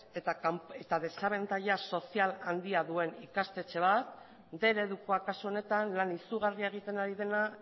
eta desabantaila sozial handia duen ikastetxe bat bostehun eredukoa kasu honetan lan izugarria egiten ari dena